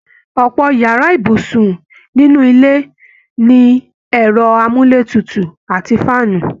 Ọpọ yàrá ibùsùn nínú ilé ni ẹ̀rọ amúletutù àti faanu